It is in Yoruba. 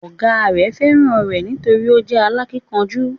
Ọ̀gá rẹ̀ fẹ́ràn rẹ̀ nítorí o jẹ́ alákínkanjú